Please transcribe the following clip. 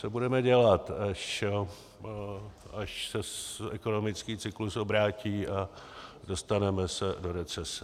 Co budeme dělat, až se ekonomický cyklus obrátí a dostaneme se do recese?